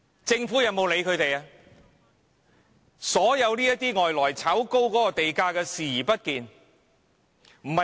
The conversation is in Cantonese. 政府對外來投資者來港炒高地價視而不見。